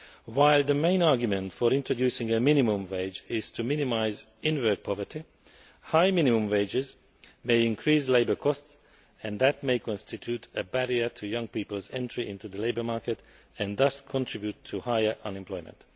While the main argument for introducing a minimum wage is to minimise in work poverty, high minimum wages may increase labour costs, and that may constitute a barrier to young people's entry into the labour market and thus contribute to higher unemployment.